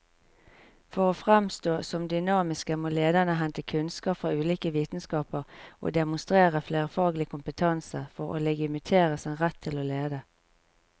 For å framstå som dynamiske må lederne hente kunnskap fra ulike vitenskaper og demonstrere flerfaglig kompetanse for å legitimere sin rett til å lede.